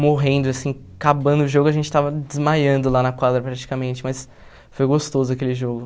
morrendo assim, acabando o jogo, a gente estava desmaiando lá na quadra praticamente, mas foi gostoso aquele jogo.